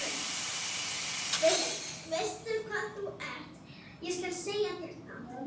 Veistu hvað þú ert, ég skal segja þér það.